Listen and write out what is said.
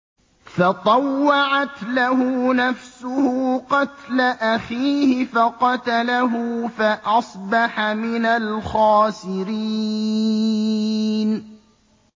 فَطَوَّعَتْ لَهُ نَفْسُهُ قَتْلَ أَخِيهِ فَقَتَلَهُ فَأَصْبَحَ مِنَ الْخَاسِرِينَ